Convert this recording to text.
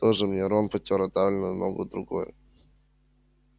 тоже мне рон потёр отдавленную ногу другой